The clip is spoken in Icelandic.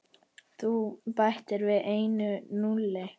Þú bætir við einu núlli.